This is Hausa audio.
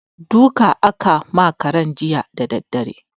Duka aka ma karen jiya da daddare.